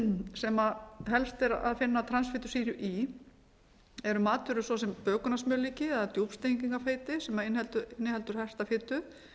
sem helst er að finna transfitusýru í eru matvöru svo sem bökunarsmjörlíki eða djúpstrengingafeiti sem inniheldur herta fitu